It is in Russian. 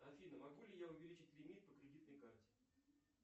афина могу ли я увеличить лимит по кредитной карте